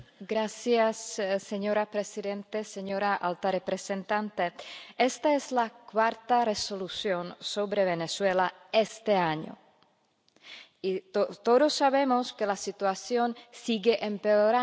Señora presidenta, señora alta representante, esta es la cuarta Resolución sobre Venezuela este año y todos sabemos que la situación sigue empeorando en Venezuela.